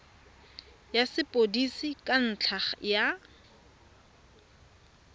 ya sepodisi ka ntlha ya